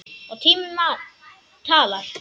Og tíminn talar.